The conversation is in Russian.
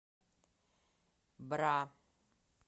бра